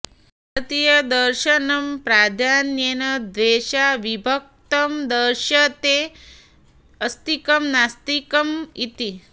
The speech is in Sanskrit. भारतीयदर्शनं प्राधान्येन द्वेधा विभक्तं दृश्यते अस्तिकं नास्तिकम् इति